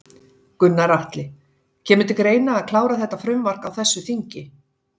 Gunnar Atli: Kemur til greina að klára þetta frumvarp á þessu þingi?